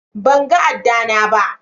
ban gan ada na ba.